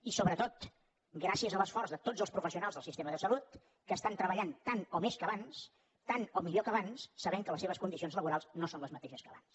i sobretot gràcies a l’esforç de tots els professionals del sistema de salut que estan treballant tant o més que abans tant o millor que abans sabent que les seves condicions laborals no són les mateixes que abans